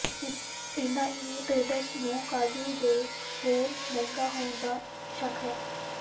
ਇੰਨਾ ਹੀ ਨਹੀਂ ਟ੍ਰੇਡਰਜ਼ ਨੂੰ ਕਾਜੂ ਦੇ ਹੋਰ ਮਹਿੰਗਾ ਹੋਣ ਦਾ ਸ਼ੱਕ ਹੈ